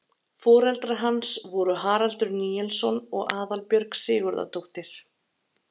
foreldrar hans voru haraldur níelsson og aðalbjörg sigurðardóttir